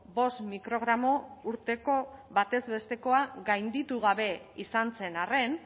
bost mikrogramo urteko batez bestekoa gainditu gabe izan zen arren